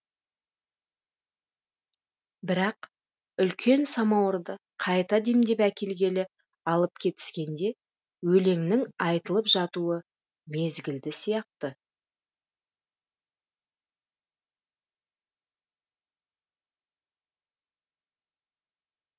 бірақ үлкен самауырды қайта демдеп әкелгелі алып кетіскенде өлеңнің айтылып жатуы мезгілді сияқты